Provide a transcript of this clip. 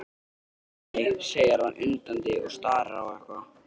Nei, nei, segir hann undandi og starir á eitthvað.